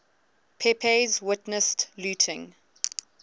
pepys witnessed looting